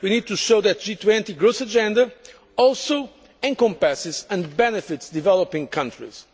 We need to show that the G20 growth agenda also encompasses and benefits developing countries.